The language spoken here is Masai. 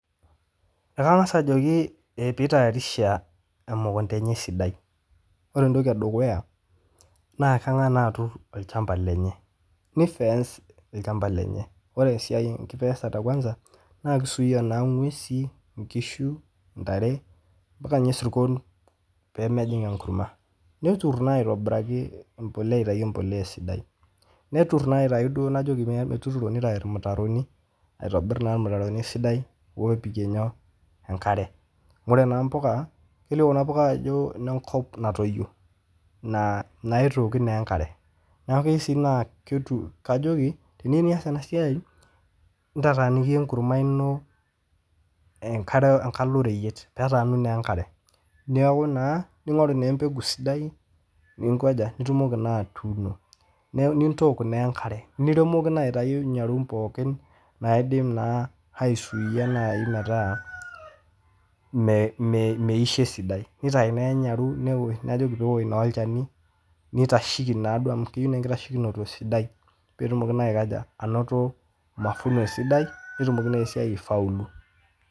Ekangas ajoki peitayarisha emukunta enye sidai, ore entoki edukuya na kangas naa aturr ilchamba lenye, neifeence ilchamba lenye, ore sii nkifenseta kwansa naa keisuuya naa inguesi, inkishu, intare mpaka sirrkon pemejing' enkurumwa, neturr naa aitobiraki embolea aitai empolea sidai, neturr naa aitayu duo najoki ninye metuturo neitai irmitaroni aitobirr naa irmitaroni sidai oopikie inyoo, enkare, ore naa empuka, keiliioo ena puka ajo ne kop natoiyo, naitooki naa enkare naa keyeu sii naa ketum, kajoki teniyeu niyas ena siai ntataaniki enkurumwa ino enkalo royiet, petaanu naa enkare, neaku naa ningoru naa empeku sidai ningoja, nitumoki naa atuuno, nintook naa enkare niremekuno aitayu inyarum pookin naidim naa aisuuya nai metaa meisho sidai, neitai naa inyaru, najoki peosh naa ilchani, neitasheki naa duo amu keyeu naa inkitashekinito peetumoki naa aikoja, anoto mafuno sidai netumoki naa sii aifaulu.